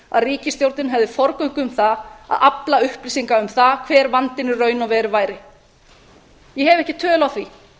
að ríkisstjórnin hefði forgöngu um það að afla upplýsinga um það hver vandinn í raun og veru væri ég hef ekki tölu á því